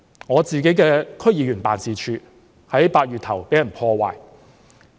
我的區議員辦事處在8月初某天被破壞。